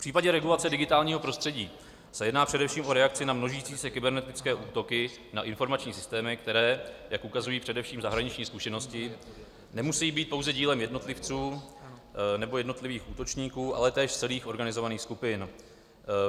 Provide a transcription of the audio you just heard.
V případě regulace digitálního prostředí se jedná především o reakci na množící se kybernetické útoky na informační systémy, které, jak ukazují především zahraniční zkušenosti, nemusejí být pouze dílem jednotlivců nebo jednotlivých útočníků, ale též celých organizovaných skupin.